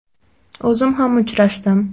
O‘zim ham uchrashdim.